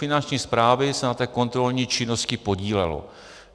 Finanční správy se na té kontrolní činnosti podílelo.